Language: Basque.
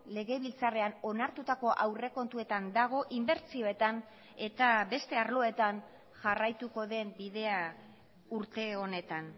legebiltzarrean onartutako aurrekontuetan dago inbertsioetan eta beste arloetan jarraituko den bidea urte honetan